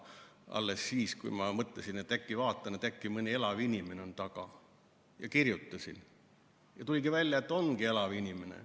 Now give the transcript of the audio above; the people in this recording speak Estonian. Alles siis, kui ma mõtlesin, et ma vaatan, äkki mõni elav inimene on nende taga, kirjutasin ja tuligi välja, et ongi elav inimene.